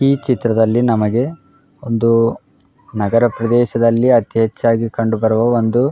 ಈ ಚಿತ್ರದ್ಲಲಿ ನಮಗೆ ಒಂದು ನಗರ ಪ್ರದೇಶದಲ್ಲಿ ಅತಿ ಹೆಚ್ಚಾಗಿ ಕಂಡು ಬರುವ ಒಂದು --